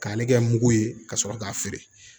K'ale kɛ mugu ye ka sɔrɔ k'a feere